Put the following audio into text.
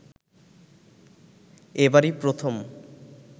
এবারই প্রথম